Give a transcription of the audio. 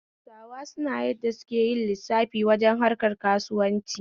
Hausawa suna yadda suke yin lissafa wajen harkan kauswanci